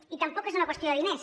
i tampoc és una qüestió de diners